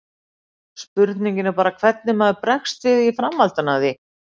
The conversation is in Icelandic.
Spurningin er bara hvernig maður bregst við í framhaldi af því.